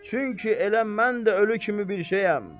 Çünki elə mən də ölü kimi bir şeyəm.